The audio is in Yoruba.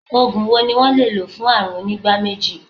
Ògùn wo ni wón le lò fún àrùn onígbá méjì?